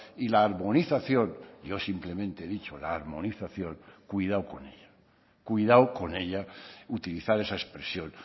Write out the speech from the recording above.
y la armonización yo simplemente he dicho la armonización cuidado con ella cuidado con ella utilizar esa expresión